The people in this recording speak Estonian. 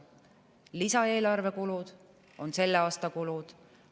Lisaeelarve kulud on selle aasta kulud.